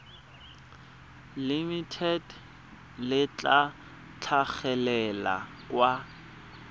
limited le tla tlhagelela kwa